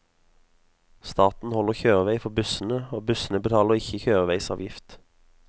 Staten holder kjørevei for bussene, og bussene betaler ikke kjøreveisavgift.